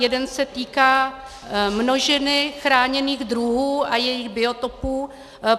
Jeden se týká množiny chráněných druhů a jejich biotopů.